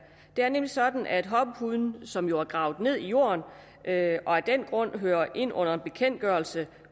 det er nemlig sådan at hoppepuden som jo er gravet ned i jorden og af den grund hører ind under en bekendtgørelse